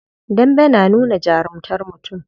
Dambe na nuna jarumtar mutum.